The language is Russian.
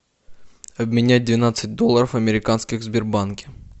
обменять двенадцать долларов американских в сбербанке